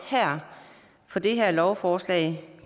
på det her lovforslag